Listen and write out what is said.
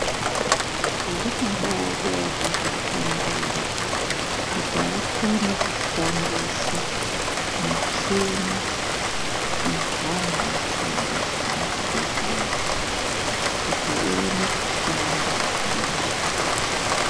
Zvinoda akazvifundira kuti akone kushandisa michini indanu inoshandiswa Muzvibhedhlera kk uti Ione kushanda nemazvo.